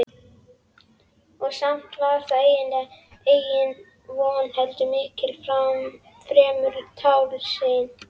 Og samt var það engin von heldur miklu fremur tálsýn.